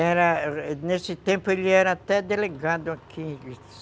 Era... Nesse tempo ele era até delegado aqui.